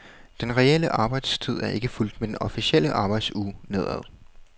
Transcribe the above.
Den reelle arbejdstid er ikke fulgt med den officielle arbejdsuge nedad.